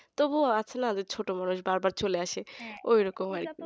তবুও আছে না ছোট্ট মানুষ বারবার চলে আসে ঐরকম আর কি